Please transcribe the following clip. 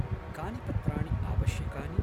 कानि पत्राणि आवश्यकानि?